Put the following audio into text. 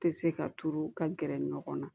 Tɛ se ka turu ka gɛrɛ ɲɔgɔn na